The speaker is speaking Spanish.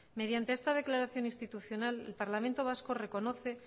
mediante esta declaración institucional el parlamento vasco reconoce